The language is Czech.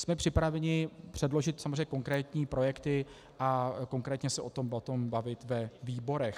Jsme připraveni předložit samozřejmě konkrétní projekty a konkrétně se o tom bavit ve výborech.